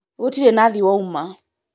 gũtirĩ nathi wauma